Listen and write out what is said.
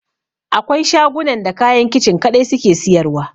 Akwai shagunan da kayan Kicin kaɗai suke siyarwa.